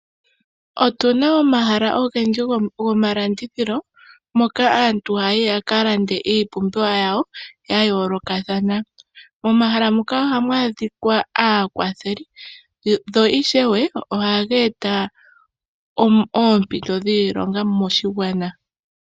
Otu na omahala ogendji gomalandithilo hoka aantu haya yi yaka lande iipumbiwa yawo ya yoolokathana. Momahala moka ohamu adhika aakwatheli sho ishewe ohaga eta oompito dhiilonga moshigwana.